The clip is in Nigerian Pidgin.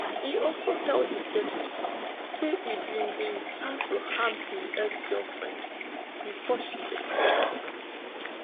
e also tell detectives say im bin dey plan to harm im exgirlfriend bifor she escape